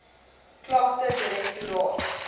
klagtedirektoraat